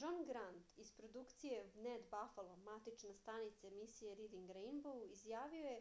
џон грант из продукције wned бафало матична станица емисије ридинг рејнбоу изјавио је: